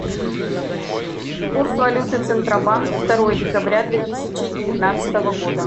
курс валюты центробанк второе декабря две тысячи девятнадцатого года